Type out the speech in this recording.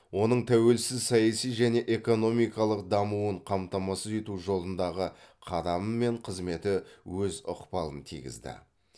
оның тәуелсіз саяси және экономикалық дамуын қамтамасыз ету жолындағы қадамы мен қызметі өз ықпалын тигізді